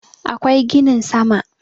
akwai ginin sama